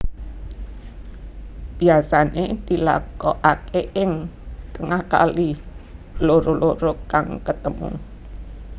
Biasané dilakokaké ing tengah kali loro loro kang ketemu